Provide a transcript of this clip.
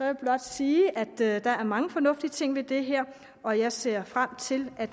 vil blot sige at der er der er mange fornuftige ting i det her og jeg ser frem til at